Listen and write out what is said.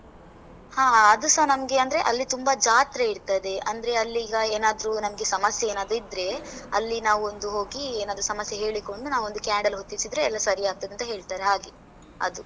ಹಾ ಅದು ಸ ನಮ್ಗೆ, ಅಂದ್ರೆ ಅಲ್ಲಿ ತುಂಬ ಜಾತ್ರೆ ಇರ್ತದೆ, ಅಂದ್ರೆ ಅಲ್ಲೀಗ ಏನಾದ್ರೂ ನಮ್ಗೆ ಸಮಸ್ಯೆ ಏನಾದ್ರೂ ಇದ್ರೆ, ಅಲ್ಲಿ ನಾವ್ ಒಂದು ಹೋಗಿ ಏನಾದ್ರೂ ಸಮಸ್ಯೆ ಹೇಳಿಕೊಂಡು ನಾವು ಒಂದು candle ಹೊತ್ತಿಸಿದ್ರೆ, ಎಲ್ಲ ಸರಿ ಆಗ್ತದೆ ಅಂತ ಹೇಳ್ತಾರೆ ಹಾಗೆ ಅದು.